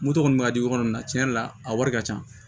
Moto kɔni bɛ ka di ɲɔgɔn na tiɲɛ yɛrɛ la a wari ka ca